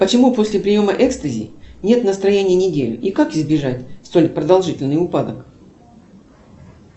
почему после приема экстази нет настроения неделю и как избежать столь продолжительный упадок